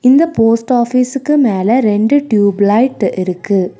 இந்த போஸ்ட் ஆபீஸ்சுக்கு மேல ரெண்டு டியூப் லைட் இருக்கு.